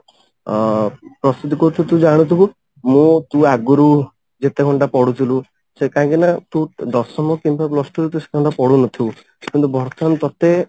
ଅ ପ୍ରସ୍ତୁତି କରୁଛୁ ତୁ ଜାଣୁଥିବୁ ମୁଁ ତୁ ଆଗୁରୁ ଯେତେ ଘଣ୍ଟା ପଢୁଥିଲୁ ସେ କାହିଁକିନା ତୁ ଦଶମ କିମ୍ବା plus two ରୁ ତୁ ସେଟା ପଢୁନଥିବୁ କିନ୍ତୁ ବର୍ତମାନ ତୋତେ